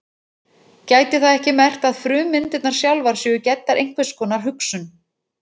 Gæti það ekki merkt að frummyndirnar sjálfar séu gæddar einhvers konar hugsun?